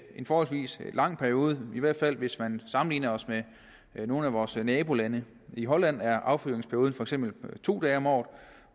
en forholdsvis lang periode i hvert fald hvis man sammenligner os med nogle af vores nabolande i holland er affyringsperioden for eksempel to dage om året